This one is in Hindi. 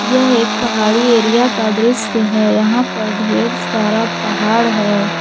यह एक पहाड़ी एरिया का दृश्य है यहां पर ढेर सारा पहाड़ है।